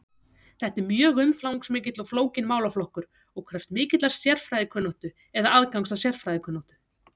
Þetta er mjög umfangsmikill og flókinn málaflokkur og krefst mikillar sérfræðikunnáttu eða aðgangs að sérfræðikunnáttu.